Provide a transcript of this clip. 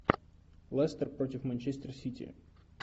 лестер против манчестер сити